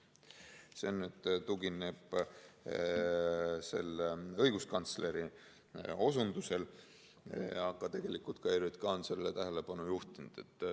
See tugineb õiguskantsleri osundusele ja ka ERJK on sellele tähelepanu juhtinud.